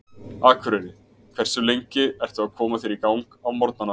Akureyri Hversu lengi ertu að koma þér í gang á morgnanna?